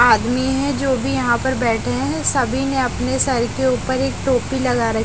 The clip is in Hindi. आदमी है जो भी यहां पर बैठे हैं सभी ने अपने सर के ऊपर एक टोपी लगा रख--